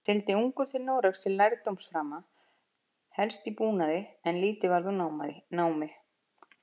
Sigldi ungur til Noregs til lærdómsframa, helst í búnaði, en lítið varð úr námi.